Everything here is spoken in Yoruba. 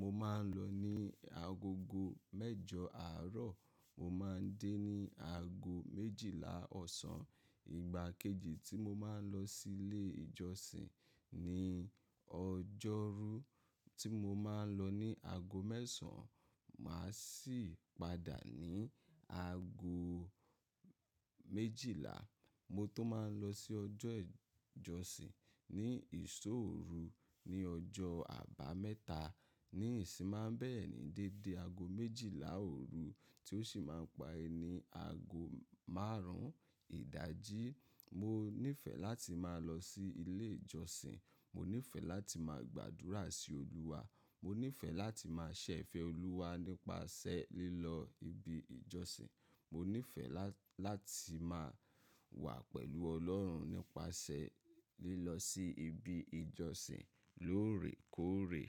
mo máa ń lọ ní ago mẹ́jọ àárọ̀, mo máa ń dé ní ago méjìlá ọ̀sán. Ìgbà kejì tí mo máa ń lọ sí ilé ìjọsìn ni ọjọ́rú tí mo máa ń lọ ní ago mẹ́sàn-án, màá sì padà ní ago méjìlá. Mo tun máa ń lọ sí ọjọ́ ìjọsìn ni ìṣóòru ní ọjọ́ àbámẹ́ta ní ìsinmá. Bẹ́ẹ̀ ni dédé ago méjìlá òru tí ó sì máa ń parí ago márùn-ún ìdájí. Mo nífẹ̀ẹ́ láti máa lọ sí ilé ìjọsìn. Mo nífẹ̀ẹ́ láti máa gbàdúrà sí Olúwa. Mo nífẹ̀ẹ́ láti máa ṣẹ́ fẹ Olúwa nípasẹ̀ lílọ ibi ìjọsìn. Mo nífẹ̀ẹ́ lá-láti máa wà pẹ̀lú Ọlọ́run nípasẹ̀ lílọ sí ibi ìjọsìn lóòrèkóòrè.